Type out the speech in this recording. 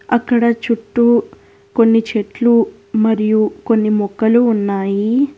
అక్కడ చుట్టూ కొన్ని చెట్లు మరియు కొన్ని మొక్కలు ఉన్నాయి.